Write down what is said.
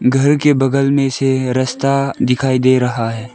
घर के बगल में से रास्ता दिखाई दे रहा है।